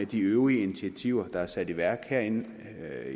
de øvrige initiativer der er sat i værk herinde